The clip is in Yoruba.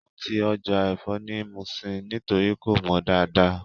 Wọ́n ti Ọjà ẹ̀fọ́ ni Muṣin nítorí kò mọ dáadáa